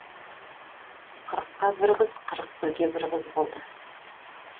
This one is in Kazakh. қырыққа бір қыз қырық бірге бір қыз болды